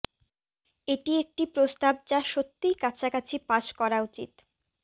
এটি একটি প্রস্তাব যা সত্যিই কাছাকাছি পাস করা উচিত